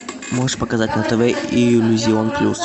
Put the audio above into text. можешь показать на тв иллюзион плюс